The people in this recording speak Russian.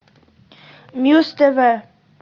муз тв